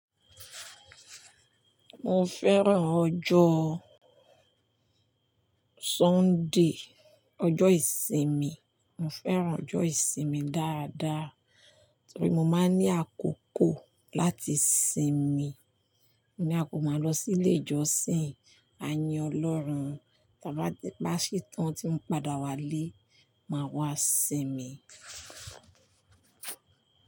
Mo fẹ́ràn ọjọ́ Sunday, ọjọ́ ìsinmi. Mo fẹ́ràn ọjọ́ ìsinmi dáadáa torí mo máa ń ní àkókò láti sinmi. Mo ní a kò máa lọ sí ilé ìjọsìn, a yin Ọlọ́run. Tí a bá ṣe tán tí ń padà wálé, máa wá sinmi.